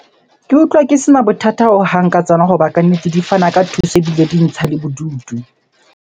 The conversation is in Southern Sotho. Ke utlwa ke sena bothata hohang ka tsona hoba kannete di fana ka thuso ebile di ntsha le bodutu.